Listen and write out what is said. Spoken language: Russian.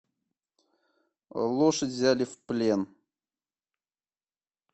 лошадь взяли в плен